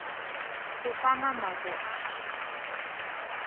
go fa mamapo a a